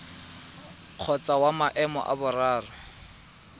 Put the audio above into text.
kgotsa wa maemo a boraro